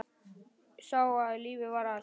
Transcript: Sá að lífið var allt.